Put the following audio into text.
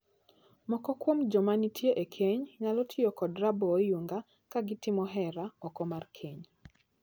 Moko kuom joma nitie e keny nyalo tiyo kod raboo oyunga ka gitimo hera oko mar keny.